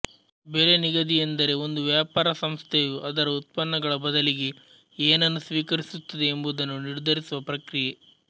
ಬೆಲೆ ನಿಗದಿ ಎಂದರೆ ಒಂದು ವ್ಯಾಪಾರ ಸಂಸ್ಥೆಯು ಅದರ ಉತ್ಪನ್ನಗಳ ಬದಲಿಗೆ ಏನನ್ನು ಸ್ವೀಕರಿಸುತ್ತದೆ ಎಂಬುದನ್ನು ನಿರ್ಧರಿಸುವ ಪ್ರಕ್ರಿಯೆ